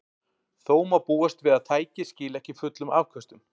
Þó má búast við að tækið skili ekki fullum afköstum.